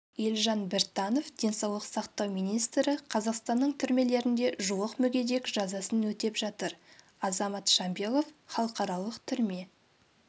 елжан біртанов денсаулық сақтау министрі қазақстанның түрмелерінде жуық мүгедек жазасын өтеп жатыр азамат шамбилов халықаралық түрме